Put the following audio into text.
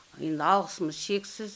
енді алғысымыз шексіз